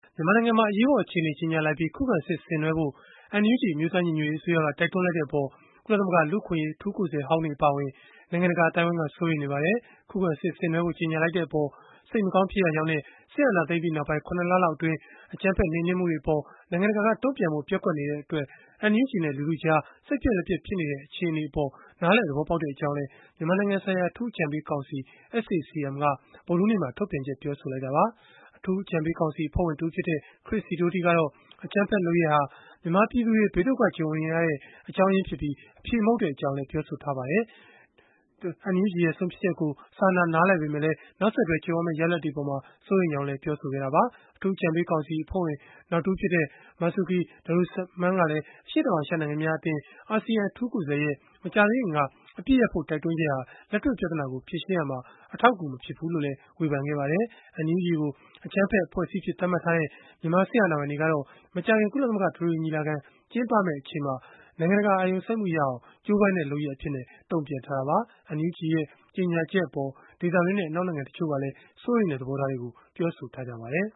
မြန်မာနိုင်ငံမှာ အရေးပေါ် အခြေအနေ ကြေညာလိုက်ပြီး၊ ခုခံစစ် ဆင်နွှဲဖို့ NUG အမျိုးသား ညီညွတ်ရေးအစိုးရက တိုက်တွန်းလိုက်တဲ့အပေါ် ကုလသမဂ္ဂ လူ့အခွင့်အရေး အထူးကိုယ်စားလှယ်ဟောင်းတွေ အပါအဝင် နိုင်ငံတကာ အသိုင်းအဝန်းက စိုးရိမ်နေပါတယ်။ ခုခံစစ်ဆင်နွှဲဖို့ ကြေညာလိုက်တဲ့အပေါ် စိတ်မကောင်းဖြစ်ရကြောင်းနဲ့ စစ်အာဏာသိမ်းပြီးနောက်ပိုင်း ၇ လလောက်အတွင်း အကြမ်းဖက် နှိမ်နင်းမှုတွေအပေါ် နိုင်ငံတကာက တုံ့ပြန်ဖို့ ပျက်ကွက်နေတဲ့အပေါ် NUG နဲ့ လူထုကြားမှာ စိတ်ပျက်လက်ပျက် ဖြစ်နေတဲ့ အခြေအနေကိုလည်း နားလည် သဘောပေါက်တဲ့အကြောင်း မြန်မာနိုင်ငံဆိုင်ရာ အထူးအကြံပေးကောင်စီ (SAC-M) က ဗုဒ္ဓဟူးနေ့ ထုတ်ပြန်ချက်မှာ ပြောဆိုလိုက်တာပါ။ အထူးအကြံပေးကောင်စီ အဖွဲ့ဝင်တဦးဖြစ်တဲ့ Chris Sidoti ကတော့ အကြမ်းဖက်လုပ်ရပ်ဟာ မြန်မာပြည်သူတွေ ဘေးဒုက္ခကြုံနေရတဲ့ အကြောင်းရင်းဖြစ်ပြီး၊ အဖြေမဟုတ်တဲ့အကြောင်း ပြောပါတယ်။ လို့ ဒီကနေ့ရက်စွဲနဲ့ ထုတ်ပြန်ချက်တခုမှာ ပြောထားပါတယ်။ NUG ရဲ့ ဆုံးဖြတ်ချက်ကို စာနာနားလည်ပေမဲ့ နောက်ဆက်တွဲ ကြုံရမယ့် ရလဒ်တွေအပေါ် စိုးရိမ်ကြောင်းလည်း ပြောဆိုခဲ့တာပါ။ အထူးအကြံပေးကောင်စီ အဖွဲ့ဝင် နောက်တဦးဖြစ်တဲ့ Marzuki Darusman ကလည်း အရှေ့တောင်အာရှ နိုင်ငံများအသင်း (ASEAN) အထူးကိုယ်စားလှယ်ရဲ့ မကြာသေးခင်က အပစ်ရပ်ဖို့ တိုက်တွန်းချက်ဟာ လက်တွေ့ပြဿနာကို ဖြေရှင်းရာမှာ အထောက်အကူ မဖြစ်ဘူးလို့ ဝေဖန်ခဲ့ပါတယ်။ NUG ကို အကြမ်းဖက်အဖွဲ့အစည်းအဖြစ် သတ်မှတ်ထားတဲ့ မြန်မာစစ်အာဏာပိုင်တွေကတော့ မကြာခင် ကုလသမဂ္ဂ အထွေထွေ ညီလာခံ ကျင်းပမယ့် အချိန်မှာ နိုင်ငံတကာ အာရုံစိုက်မှုရအောင် ကြိုးပမ်းတဲ့ လုပ်ရပ်အဖြစ် တုံ့ပြန်ထားတာပါ။ NUG ရဲ့ ကြေညာချက်အပေါ် ဒေသတွင်းနဲ့ အနောက်နိုင်ငံ တချို့ကလည်း စိုးရိမ်တဲ့ သဘောထားတွေကို ပြောဆိုထားကြပါတယ်